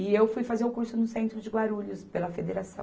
E eu fui fazer o curso no centro de Guarulhos, pela federação.